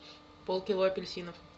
полкило апельсинов